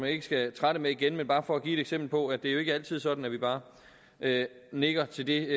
ikke skal trætte med igen det er bare for at give eksempel på at det jo ikke altid er sådan at vi bare nikker til det